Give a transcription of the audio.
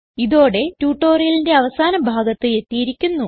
ഇതോടെ ട്യൂട്ടോറിയലിന്റെ അവസാന ഭാഗത്ത് എത്തിയിരിക്കുന്നു